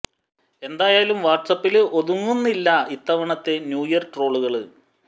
എന്തായാലും വാട്സ് ആപ്പില് ഒതുങ്ങുന്നില്ല ഇത്തവണത്തെ ന്യൂ ഇയര് ട്രോളുകള്